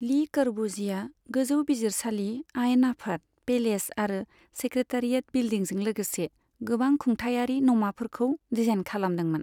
ली कर्बुजिएआ गोजौ बिजिरसालि, आयेन आफाद पेलेस आरो सेक्रेटारियेट बिलडिंजों लोगोसे गोबां खुंथाइआरि नमाफोरखौ डिजाइन खालामदोंमोन।